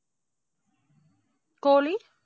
கோழி?